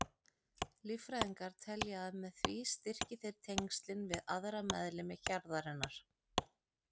Líffræðingar telja að með því styrki þeir tengslin við aðra meðlimi hjarðarinnar.